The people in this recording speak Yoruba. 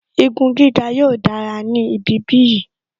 Igun gíga yóò dára ní ibi bí yìí